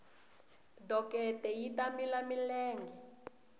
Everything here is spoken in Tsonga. dokete yi ta mila milenge